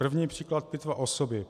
První příklad pitva osoby.